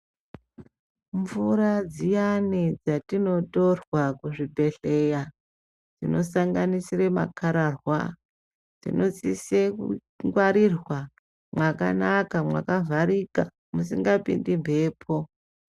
Mvura dziyani dzatinotorwa kuzvibhedleya dzinosanganisire makararwa dzinosise kungwarirwa mwakanaka makavharika musingapinde mhepo.